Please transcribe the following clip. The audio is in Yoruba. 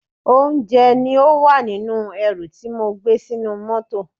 Oúnjẹ ní ó wà nínú ẹrù tí mo gbé sínú mọ́tọ̀.